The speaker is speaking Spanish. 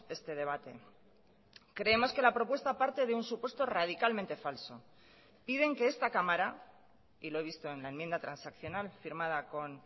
este debate creemos que la propuesta parte de un supuesto radicalmente falso piden que esta cámara y lo he visto en la enmienda transaccional firmada con